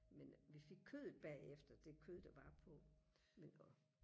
men vi fik kødet bagefter det kød der var på men og